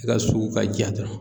I ka sugu ka jaa dɔrɔn.